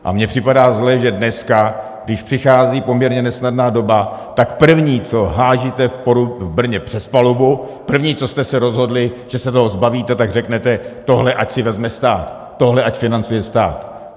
A mně připadá zlé, že dneska, když přichází poměrně nesnadná doba, tak první, co házíte v Brně přes palubu, první, co jste se rozhodli, že se toho zbavíte, tak řeknete - tohle ať si vezme stát, tohle ať financuje stát.